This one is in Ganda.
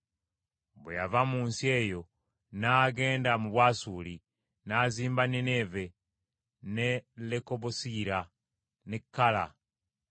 Bwe yava mu nsi eyo n’agenda mu Bwasuli, n’azimba Nineeve, ne Lekobosiyira, ne Kala ne